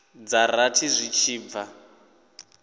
dza rathi zwi tshi bva